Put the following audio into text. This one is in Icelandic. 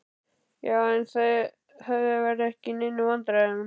Já, en þið verðið ekki í neinum vandræðum.